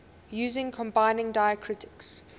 using combining diacritics